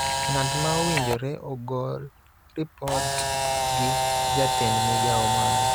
ng�at ma owinjore ogol ripot gi Jatend Migao mare.